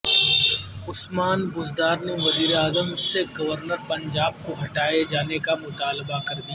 عثمان بزدار نے وزیراعظم سے گورنر پنجاب کو ہٹانے کا مطالبہ کردیا